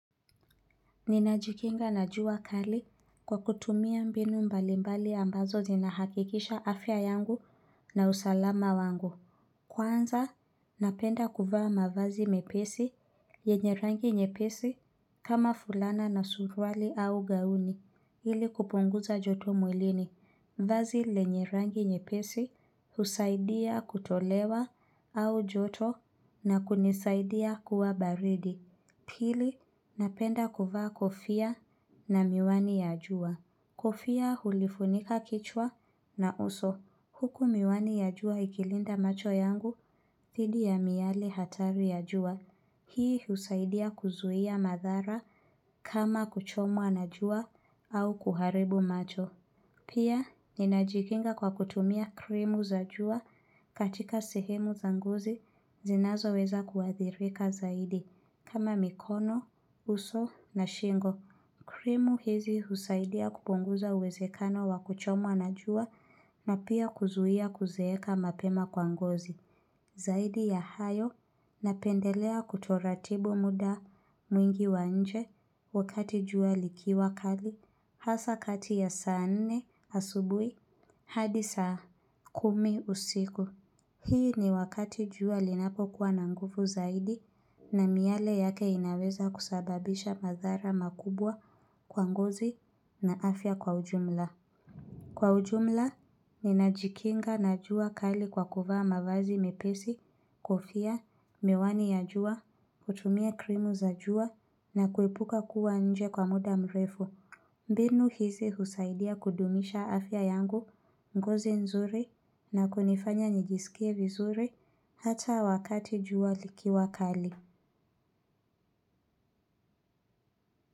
Ninajikinga na jua kali kwa kutumia mbinu mbalimbali ambazo zinahakikisha afya yangu na usalama wangu. Kwanza, napenda kuvaa mavazi mepesi, yenye rangi nyepesi, kama fulana na surwali au gauni, ili kupunguza joto mwilini, vazi lenye rangi nyepesi, usaidia kutolewa au joto na kunisaidia kuwa baridi. Pili napenda kuvaa kofia na miwani ya jua. Kofia hulifunika kichwa na uso. Huku miwani ya jua ikilinda macho yangu, thidi ya miyele hatari ya jua. Hii usaidia kuzuhia madhara kama kuchomwa na jua au kuharibu macho. Pia, ninajikinga kwa kutumia krimu za jua katika sehemu za ngozi zinazoweza kuadhirika zaidi. Kama mikono, uso na shingo, krimu hizi husaidia kupunguza uwezekano wa kuchomwa najua na pia kuzuia kuzeeka mapema kwa ngozi. Zaidi ya hayo napendelea kutoratibu muda mwingi wa nje wakati jua likiwa kali hasa kati ya saa nne asubui hadi saa kumi usiku. Hii ni wakati jua linapo kuwa na nguvu zaidi na miale yake inaweza kusababisha madhara makubwa kwa ngozi na afya kwa ujumla. Kwa ujumla, ninajikinga na jua kali kwa kuvaa mavazi mepesi, kofia, miwani ya jua, kutumia krimu za jua na kuepuka kuwa nje kwa muda mrefu. Mbinu hizi husaidia kudumisha afya yangu, ngozi nzuri na kunifanya nijisikie vizuri hata wakati jua likiwa kali.